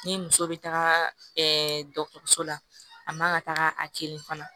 Ni muso bɛ taga dɔgɔtɔrɔso la a man ka taga a te yen fana